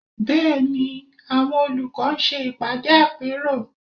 Bẹ́ẹ̀ ni, àwọn olùkọ́ ń ṣe ìpàdé àpérò